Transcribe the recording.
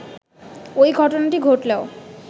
ওই ঘটনাটি ঘটলেও